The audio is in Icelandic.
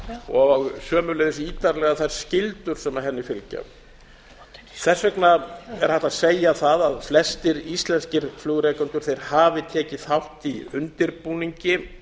og sömuleiðis ítarlega þær skyldur sem henni fylgja þess vegna er hægt að segja það að flestir íslenskir flugrekendur hafi tekið þátt í undirbúningi